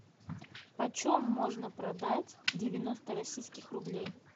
почем можно продать девяносто российских рублей